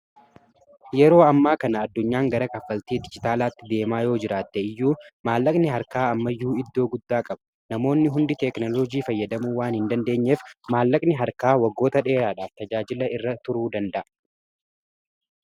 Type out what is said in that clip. Yeroo ammaa kana addunyaan gara kaffaltii dijitaalaatti deemaa yoo jiraatte iyyuu maallaqni harkaa ammayyuu iddoo guddaa qabu namoonni hundi teeknolojii fayyadamuu waan hin dandeenyeef maallaqni harkaa waggoota dheeraadhaaf tajaajila irra turuu danda'a